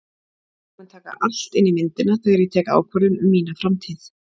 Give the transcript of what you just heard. Ég mun taka allt inn í myndina þegar ég tek ákvörðun um mína framtíð.